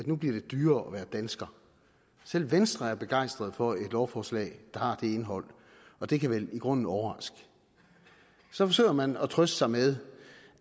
nu bliver dyrere at være dansker selv venstre er begejstret for et lovforslag der har det indhold og det kan vel i grunden overraske så forsøger man at trøste sig med